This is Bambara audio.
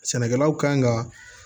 Sɛnɛkɛlaw kan ka